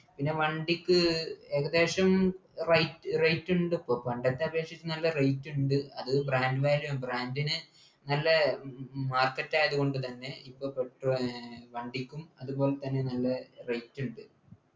പിന്നെ വണ്ടിക്ക് ഏകദേശം rate ഉണ്ട് ഇപ്പൊ പണ്ടത്തെ അപേക്ഷിച്ച് നല്ല rate ഉണ്ട് അത് brand value brand ന് നല്ല mark value ഉണ്ട് തന്നെ ഇപ്പോൾ കുറച്ചു വണ്ടിക്കും അതുപോലെതന്നെ നല്ല rate ണ്ട്